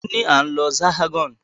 Òní ní a ń lọ Hexagon.